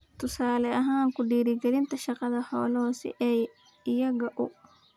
Tusaale ahaan, ku dhiirigelinta dhaqashada xoolaha si ay iyaga u .